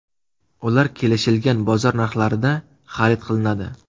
Ular kelishilgan bozor narxlarida xarid qilinadi.